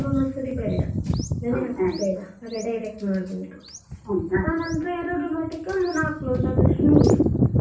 Sona Masuri ಬೇಡ ನೆನೆ ಹಾಕೋದು ಬೇಡ ಆಗ direct ಮಾಡ್ಬೋದು. ಎರಡು ಲೋಟಕ್ಕೆ ಒಂದು ನಾಲ್ಕು ಲೋಟದಷ್ಟು ನೀರು.